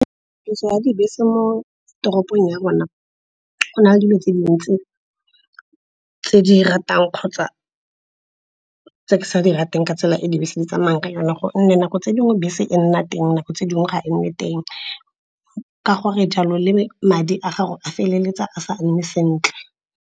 Tiriso ya dibese mo toropong ya rona go na le dilo tse dintsi tse di ratang kgotsa tse ke sa di rateng ka tsela e e ka dibese di tsamaya ka yone. Gonne nako tse dingwe bese e nna teng, nako tse dingwe ga e nne teng. Ka gore jalo, le madi a gago a feleletsa a sa nne sentle.